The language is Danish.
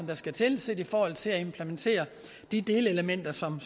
der skal til i forhold til at implementere de delelementer som